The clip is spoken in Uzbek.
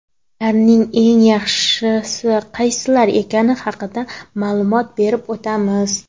Ularning eng yaxshisi qaysilar ekani haqida ma’lumot berib o‘tamiz.